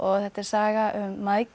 þetta er saga um